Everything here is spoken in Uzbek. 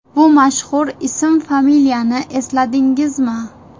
Bu mashhur ism, familiyani esladingizmi?